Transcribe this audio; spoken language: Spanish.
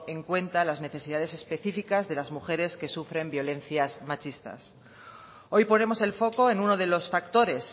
en cuenta las necesidades específicas de las mujeres que sufren violencias machistas hoy ponemos el foco en uno de los factores